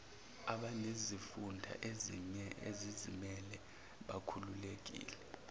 abanezifunda ezizimele bakhululekile